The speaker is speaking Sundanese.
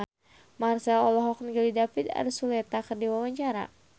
Marchell olohok ningali David Archuletta keur diwawancara